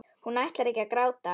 Hún ætlar ekki að gráta.